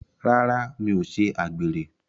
Rárá, mi ò ṣe àgbèrè.